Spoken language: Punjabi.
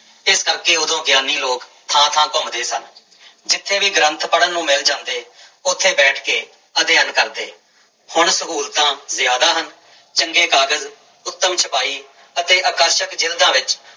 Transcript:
ਇਸ ਕਰਕੇ ਉਦੋਂ ਗਿਆਨੀ ਲੋਕ ਥਾਂ ਥਾਂ ਘੁੰਮਦੇੇ ਸਨ ਜਿੱਥੇ ਵੀ ਗ੍ਰੰਥ ਪੜ੍ਹਨ ਨੂੰ ਮਿਲ ਜਾਂਦੇ ਉੱਥੇ ਬੈਠ ਕੇ ਅਧਿਐਨ ਕਰਦੇ, ਹੁਣ ਸਹੂਲਤਾਂ ਜ਼ਿਆਦਾ ਹਨ, ਚੰਗੇ ਕਾਗਜ਼ ਉਤਮ ਛਪਾਈ ਅਤੇ ਆਕਰਸ਼ਕ ਜ਼ਿਲਦਾਂ ਵਿੱਚ